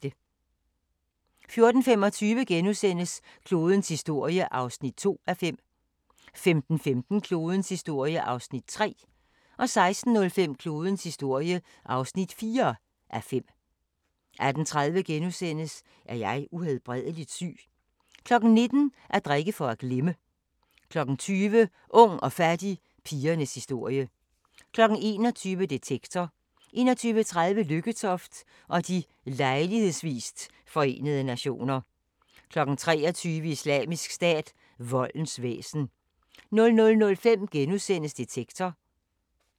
14:25: Klodens historie (2:5)* 15:15: Klodens historie (3:5) 16:05: Klodens historie (4:5) 18:30: Er jeg uhelbredelig syg? * 19:00: At drikke for at glemme * 20:00: Ung og fattig – pigernes historie 21:00: Detektor 21:30: Lykketoft og de lejlighedsvist Forenede Nationer 23:00: Islamisk Stat – voldens væsen 00:05: Detektor *